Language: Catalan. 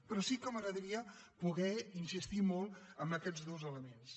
però sí que m’agradaria poder insistir molt en aquests dos elements